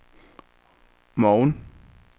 morgen